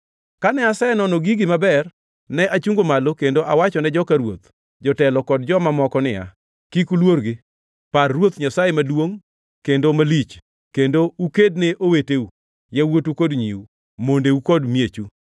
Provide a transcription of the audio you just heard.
Kane asenono gigi maber, ne achungo malo kendo awachone joka ruoth, jotelo kod joma moko niya, “Kik uluorgi. Par Ruoth Nyasaye, maduongʼ kendo malich, kendo ukedne oweteu, yawuotu kod nyiu, mondeu, kod miechu.”